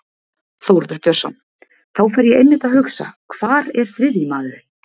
Þórður Björnsson: Þá fer ég einmitt að hugsa hvar er þriðji maðurinn?